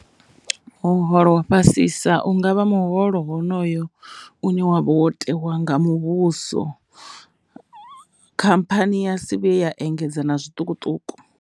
Muholo wa fhasisa ungavha muholo honoyo une wavha wo tewa nga muvhuso, khamphani ya si vhuye ya engedza na zwiṱukuṱuku.